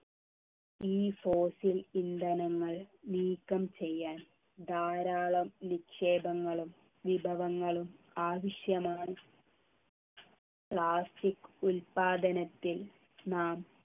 ഈ fossil ഇന്ധനങ്ങൾ നീക്കം ചെയ്യാൻ ധാരാളം നിക്ഷേപങ്ങളും വിഭവങ്ങളും ആവശ്യമാണ് plastic ഉത്പാദനത്തിൽ നാം